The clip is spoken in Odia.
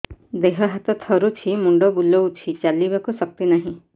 ଦେହ ହାତ ଥରୁଛି ମୁଣ୍ଡ ବୁଲଉଛି ଚାଲିବାକୁ ଶକ୍ତି ନାହିଁ